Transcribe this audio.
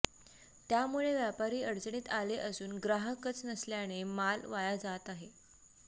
त्यामुळे व्यापारी अडचणीत आले असून ग्राहकच नसल्याने माल वाया जात आहे